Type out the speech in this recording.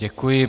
Děkuji.